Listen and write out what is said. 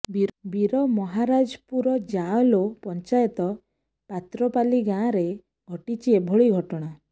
ବୀରମହାରାଜପୁର ଯାଏଲୋ ପଞ୍ଚାୟତ ପାତ୍ରପାଲି ଗାଁରେ ଘଟିଛି ଏଭଳି ଘଟଣା